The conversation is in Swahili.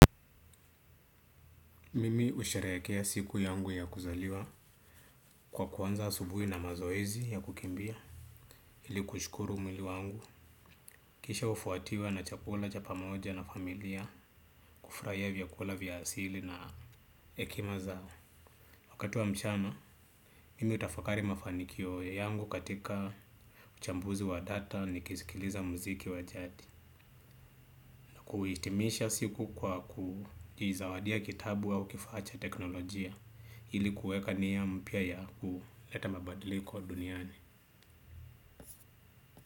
Mimi usharikea siku yangu ya kuzaliwa kwa kuanza asubuhi na mazoezi ya kukimbia. Ili kushukuru mwili wangu. Kisha hufuatiwa na chakula cha pamoja na familia kufurahia vyakula vya asili na hekima zao. Wakati wa mchana, mimi hutafakari mafanikio yangu katika uchambuzi wa data nikisikiliza muziki wa jadi. Na kuhitimisha siku kwa kujizawadia kitabu au kifaa cha teknolojia ili kuweka nia mpya ya kuleta mabadiliko duniani.